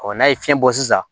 n'a ye fiɲɛ bɔ sisan